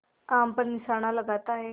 आम पर निशाना लगाता है